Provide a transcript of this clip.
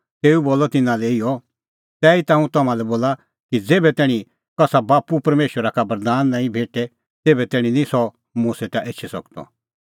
तेऊ बोलअ तिन्नां लै इहअ तैहीता हुंह तम्हां लै बोला कि ज़ेभै तैणीं कसा बाप्पू परमेशरा का बरदान नांईं भेटे तेभै तैणीं निं सह मुंह सेटा एछी सकदअ